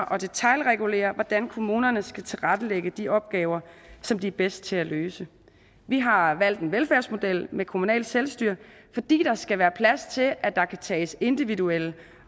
at detailregulere hvordan kommunerne skal tilrettelægge de opgaver som de er bedst til at løse vi har valgt en velfærdsmodel med kommunalt selvstyre fordi der skal være plads til at der kan tages individuelle